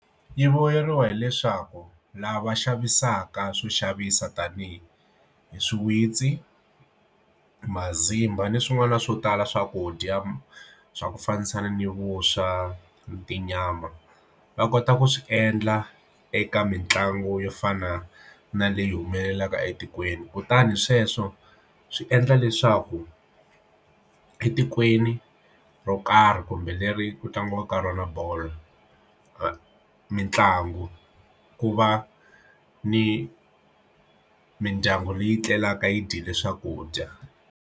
Yi vuyeriwa hileswaku lava xavisaka swo xavisa tanihi hi swiwitsi mazambani swin'wana swo tala swakudya swa ku fambisana ni vuswa tinyama va kota ku swi endla eka mitlangu yo fana na leyi humelelaka etikweni kutani sweswo swi endla leswaku etikweni ro karhi kumbe leri ku tlangiwaka rona bolo mitlangu ku va ni mindyangu leyi tlelaka yi dyile swakudya.